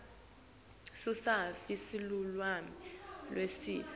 sususafi silulwimi lweesive